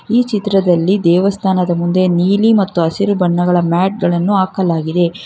ಈ ಚಿತ್ರದಲ್ಲಿ ದೇವಸ್ಥಾನದ ಮುಂದೆ ನೀಲಿ ಮತ್ತು ಹಸಿರು ಬಣ್ಣಗಳ ಮ್ಯಾಟ್ ಗಳನ್ನು ಹಾಕಲಾಗಿದೆ